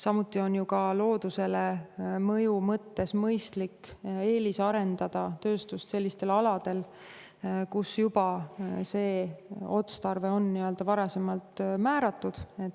Samuti on ju ka loodusele avalduva mõju mõttes mõistlik eelisarendada tööstust sellistel aladel, kus juba see otstarve on varasemalt määratud.